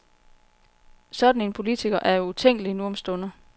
Sådan en politiker er jo utænkelig nu om stunder.